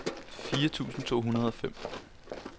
fire tusind to hundrede og fem